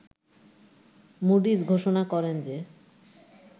Moody's ঘোষণা করেন যে